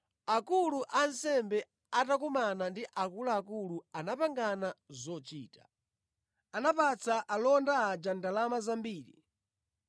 Akulu a ansembe atakumana ndi akuluakulu anapangana zochita. Anapatsa alonda aja ndalama zambiri,